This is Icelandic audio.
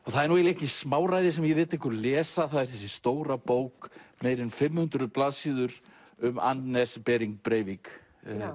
það er nú ekkert smáræði sem ég ég lét ykkur lesa það er þessi stóra bók meira en fimm hundruð blaðsíður um Anders Breivik